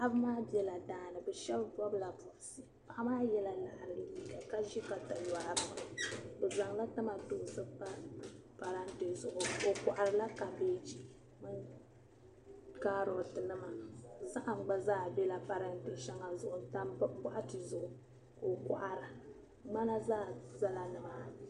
Paɣ'ba maa bɛla daani shɛba bɔbila bɔbisi paɣa yela laɣiri liiga ʒi kamatoonsi pa parati zuɣu o kɔhirila kabaji karotinim zahim gba zaa n tam bɔɣiti zuɣu ka o kɔhira mana gba zala ni maani